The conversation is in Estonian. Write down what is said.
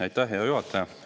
Aitäh, hea juhataja!